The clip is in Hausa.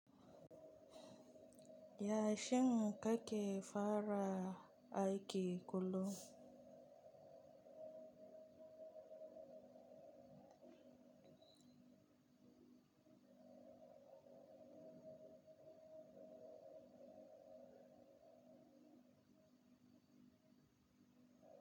Ya, shin kake fara aiki kullum?